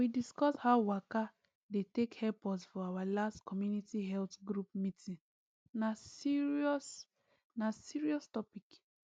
we discuss how waka dey take help us for our last community health group meeting na serious na serious topic